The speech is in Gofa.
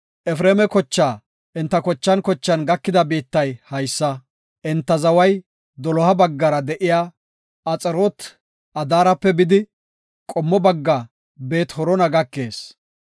Efreema kochaa enta kochan kochan gakida biittay haysa; enta zaway doloha baggara de7iya Axaroot-Adaarepe bidi, qommo bagga Beet-Horona keyees.